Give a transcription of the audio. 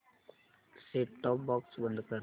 set top box बंद कर